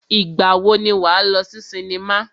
Ìgbà wo ni wà á lọ sí sinimá?